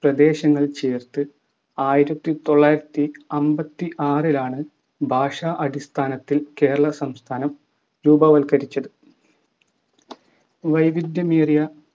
പ്രദേശങ്ങൾ ചേർത്ത് ആയിരത്തിത്തൊള്ളായിരത്തി അമ്പത്തി ആറിലാണ്‌ ഭാഷാ അടിസ്ഥാനത്തിൽ കേരളസംസ്ഥാനം രൂപവത്കരിച്ചത് വൈവിദ്ധ്യമേറിയ